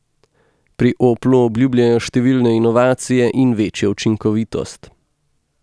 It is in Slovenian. Pri Oplu obljubljajo številne inovacije in večjo učinkovitost.